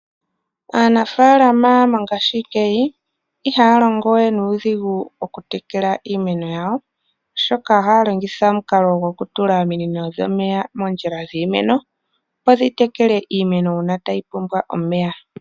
Aanafaalama mongaashi ngeyi, iha ya longo we nuudhigu mokutekela iimeno yawo, oshoka oha ya longitha omukalo gokutula ominino dhomeya moondjila dhiimeno, opo dhi tekele iimeno uuna ta yi pumbwa omeya.